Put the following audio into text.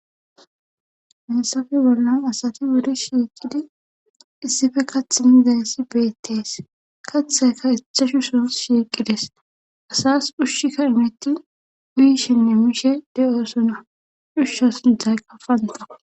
Mesafe bollan asati wuri shiiqidi issife kath mizayessi beettees kaththayka ethashu son shiiqides asas hushshikka imitti uyishenne mishe de'osona dhushsha sinthayqa fanta.